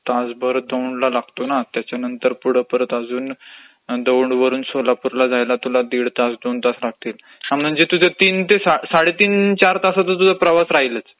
तासभर दौडला लागतो ना, त्याच्यानंतर पुढं मग अजून दौडवरून सोलापूरला जायला तुला दीड -दोन तास लागतील, म्हणजे तुझं तीन ते साडेतीन